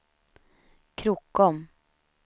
Krokom